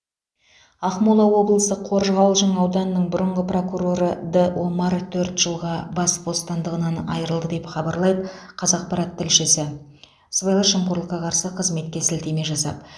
ақмола облысы қоржығалжың ауданының бұрынғы прокуроры д омар төрт жылға бас бостандығынан айырылды деп хабарлайды қазақпарат тілшісі сыбайлас жемқорлыққа қарсы қызметке сілтеме жасап